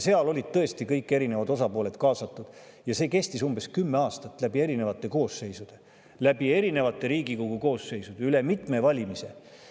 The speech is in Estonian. Seal olid tõesti kõik erinevad osapooled kaasatud ja see kestis umbes kümme aastat läbi erinevate koosseisude, läbi erinevate Riigikogu koosseisude, üle mitmete valimiste.